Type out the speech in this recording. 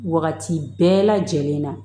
Wagati bɛɛ lajɛlen na